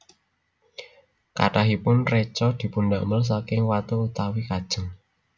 Kathahipun reca dipundamel saking watu utawi kajeng